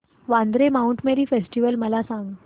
Vandre Mount Mary festival मला सांग